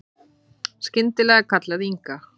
Skyndilega kallaði Inga